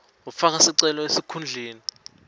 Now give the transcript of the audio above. ufaka sicelo esikhundleni